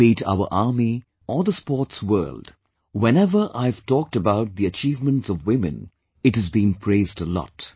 Be it our army or the sports world, whenever I have talked about the achievements of women, it has been praised a lot